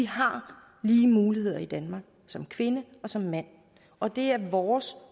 har lige muligheder i danmark som kvinde og som mand og det er vores